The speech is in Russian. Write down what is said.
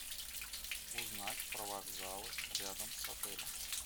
узнать про вокзалы рядом с отелем